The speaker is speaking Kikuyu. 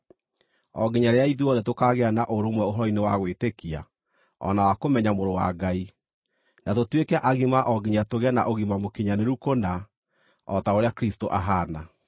o nginya rĩrĩa ithuothe tũkaagĩa na ũrũmwe ũhoro-inĩ wa gwĩtĩkia o na wa kũmenya Mũrũ wa Ngai, na tũtuĩke agima o nginya tũgĩe na ũgima mũkinyanĩru kũna o ta ũrĩa Kristũ ahaana.